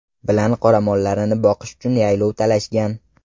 bilan qoramollarini boqish uchun yaylov talashgan.